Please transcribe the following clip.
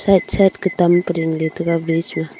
side kutam pa dingley taiga bridge ma.